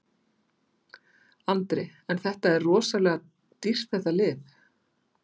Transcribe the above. Andri: En þetta er rosalega dýrt þetta lyf?